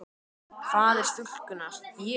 Faðir stúlkunnar: Ég?